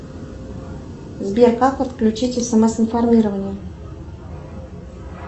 сбер как отключить смс информирование